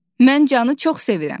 Mən Canı çox sevirəm.